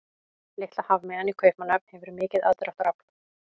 Litla hafmeyjan í Kaupmannahöfn hefur mikið aðdráttarafl.